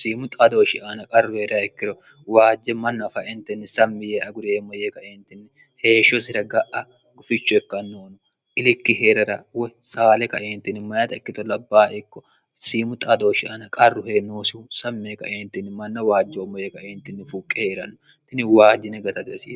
siimu xaadooshi aana qarruhee'rayikkiro waajje manna faentinni sammi yee agureemmo yee kaeentinni heeshsho sira ga'a goficho hekkannoono ilikki hee'rara woy saale kaeentinni mayata ikkito labbaa ikko siimu xaadooshi aana qarru hee noosihu sammee kaeentinni manna waajjeommo yee qaeentinni fuuqqe hee'ranno tini waajjine gatati asi